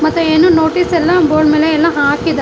ಮತ್ತೆ ಏನೋ ನೋಟೀಸ್ ಎಲ್ಲಾ ಬೋರ್ಡ್ ಮೇಲೆ ಎಲ್ಲಾ ಹಾಕಿದ--